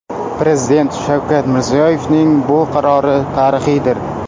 Prezident Shavkat Mirziyoyevning bu qarori tarixiydir.